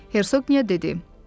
Hersoqniya dedi: